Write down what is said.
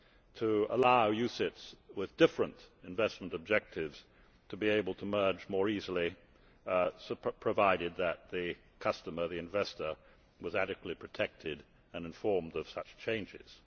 further to allow UCITS with different investment objectives to be able to merge more easily, provided that the investor was adequately protected and informed of such changes.